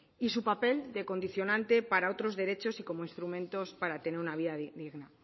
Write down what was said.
y su papel de condicionante para otros derechos y como instrumentos para tener una vida digna